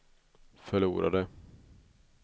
förlorade